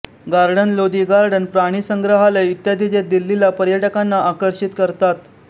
garden Lodi garden प्राणीसंग्रहालय इत्यादी जे दिल्लीला पर्यटकांना आकर्षित करतात